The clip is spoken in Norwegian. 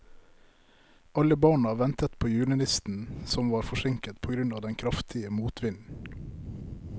Alle barna ventet på julenissen, som var forsinket på grunn av den kraftige motvinden.